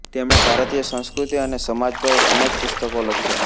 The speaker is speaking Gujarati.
તેમણે ભારતીય સંસ્કૃતિ અને સમાજ પર અનેક પુસ્તકો લખ્યા